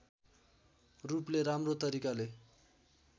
रूपले राम्रो तरिकाले